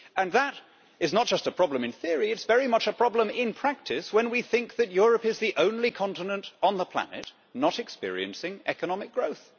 That is not just a problem in theory, it is very much a problem in practice, when we think that Europe is the only continent on the planet not experiencing economic growth.